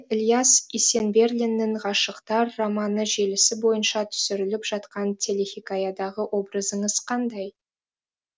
бүгін де ілияс есенберлиннің ғашықтар романы желісі бойынша түсіріліп жатқан телехикаядағы образыңыз қандай